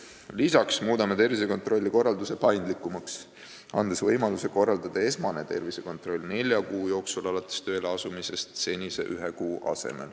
Peale selle muudame tervisekontrolli korralduse paindlikumaks, andes võimaluse korraldada esmane tervisekontroll senise ühe kuu asemel nelja kuu jooksul alates tööle asumisest.